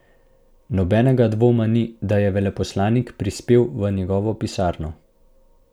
Nobenega dvoma ni, da je veleposlanik prispel v njegovo pisarno.